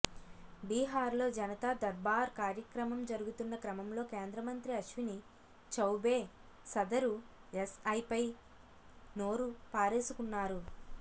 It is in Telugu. బీహార్లో జనతా దర్బార్ కార్యక్రమం జరుగుతున్న క్రమంలో కేంద్ర మంత్రి అశ్విని చౌబే సదరు ఎస్ఐ పై నోరు పారేసుకున్నారు